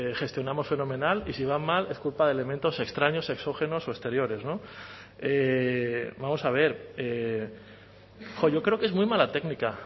gestionamos fenomenal y si van mal es culpa de elementos extraños exógenos o exteriores vamos a ver yo creo que es muy mala técnica